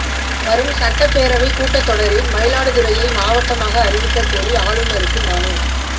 வரும் சட்டப் பேரவைக் கூட்டத் தொடரில் மயிலாடுதுறையை மாவட்டமாக அறிவிக்கக் கோரி ஆளுநருக்கு மனு